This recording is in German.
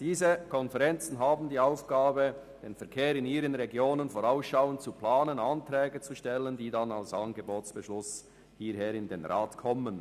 Diese Konferenzen haben die Aufgabe, den Verkehr in ihren Regionen vorausschauend zu planen und Anträge zu Angeboten zu stellen, die dem Grossen Rat anschliessend zum Beschluss vorgelegt werden.